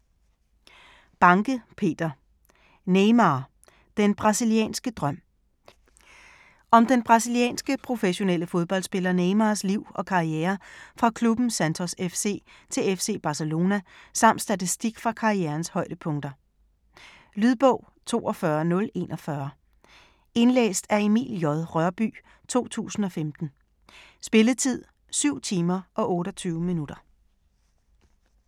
Banke, Peter: Neymar - den brasilianske drøm Om den brasilianske, professionelle fodboldspiller Neymars (f. 1992) liv og karriere fra klubben Santos FC til FC Barcelona, samt statistik fra karrierens højdepunkter. Lydbog 42041 Indlæst af Emil J. Rørbye, 2015. Spilletid: 7 timer, 28 minutter.